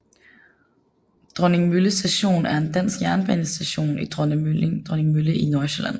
Dronningmølle Station er en dansk jernbanestation i Dronningmølle i Nordsjælland